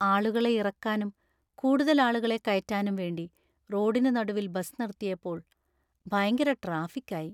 ആളുകളെ ഇറക്കാനും, കൂടുതൽ ആളുകളെ കയറ്റാനും വേണ്ടി റോഡിന് നടുവിൽ ബസ് നിർത്തിയപ്പോൾ ഭയങ്കര ട്രാഫിക് ആയി.